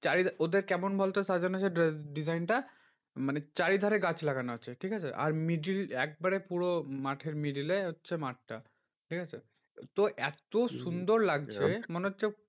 চারি ওদের কেমন বলতো সাজানো সেই design টা মানে চারিধারে গাছ লাগানো আছে ঠিকাছে আর middle একবারে পুরো মাঠের middle এ হচ্ছে মাঠটা, ঠিকাছে তো এত্ত সুন্দর লাগছে মনে হচ্ছে